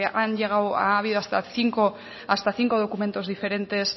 ha habido hasta cinco documentos diferentes